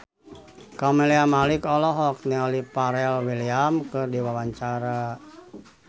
Camelia Malik olohok ningali Pharrell Williams keur diwawancara